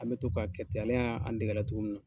An bɛ to ka kɛ ten ale y'a an dege a la cogo min na.